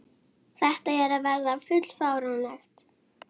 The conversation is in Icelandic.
Þetta er að verða full fáránlegt.